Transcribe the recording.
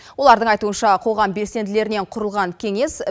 олардың айтуынша қоғам белсенділерінен құрылған кеңес